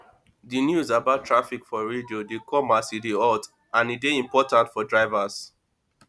di news about traffic for radio dey come as e dey hot and e de dey important for drivers